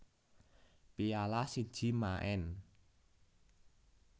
Piala siji maen